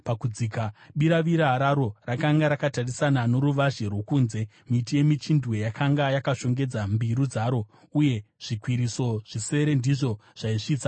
Biravira raro rakanga rakatarisana noruvazhe rwokunze; miti yemichindwe yakanga yakashongedza mbiru dzaro, uye zvikwiriso zvisere ndizvo zvaisvitsa ikoko.